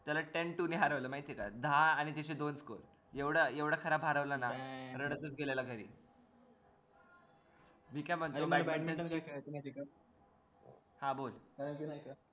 त्याला ten two ने हरवलं माहितेय का दहा आणि त्याचे दोन score एवढा एवढा खराब हरवलेल ना रडतच गेला घरी हा बोल